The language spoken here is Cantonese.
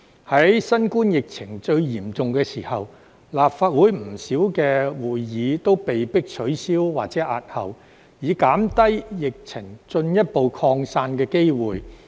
在新冠疫情最嚴重的時候，立法會不少會議都被迫取消或押後，以減低疫情進一步擴散的機會。